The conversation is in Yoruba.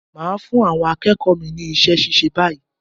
Mà á fún àwọn akéèkòó mi ní isé síse báyìí